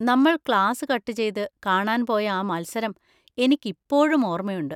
നമ്മൾ class cut ചെയ്ത് കാണാൻ പോയ ആ മത്സരം എനിക്കിപ്പോഴും ഓർമയുണ്ട്.